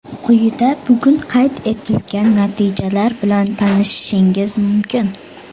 Quyida bugun qayd etilgan natijalar bilan tanishishingiz mumkin.